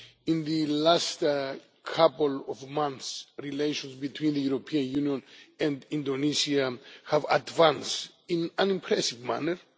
In the last couple of months relations between the European Union and Indonesia have advanced in an impressive manner.